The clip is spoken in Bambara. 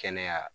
Kɛnɛya